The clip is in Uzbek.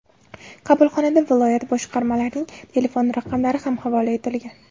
Qabulxonada viloyat boshqarmalarining telefon raqamlari ham havola etilgan.